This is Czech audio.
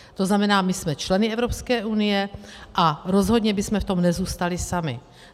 To znamená, my jsme členy Evropské unie a rozhodně bychom v tom nezůstali sami.